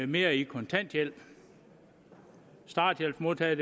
mere i kontanthjælp starthjælpsmodtagere